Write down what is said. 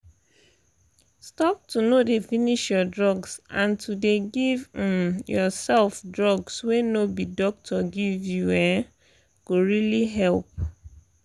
stop to no dey finish your drugs and to dey give um yourself drugs wey no be doctor give you um go really help.